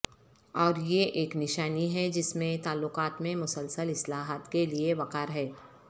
اور یہ ایک نشانی ہے جس میں تعلقات میں مسلسل اصلاحات کے لئے وقار ہے